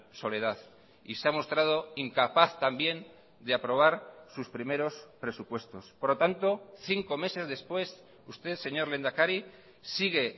soledad y se ha mostrado incapaz también de aprobar sus primeros presupuestos por lo tanto cinco meses después usted señor lehendakari sigue